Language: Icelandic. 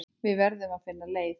Við verðum að finna leið.